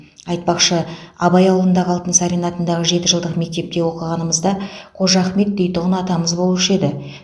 айтпақшы абай ауылындағы алтынсарин атындағы жетіжылдық мектепте оқығанымызда қожа ахмет дейтұғын атамыз болушы еді